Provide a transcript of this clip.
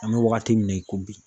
An bɛ wagati min na i ko bi.